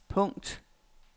punkt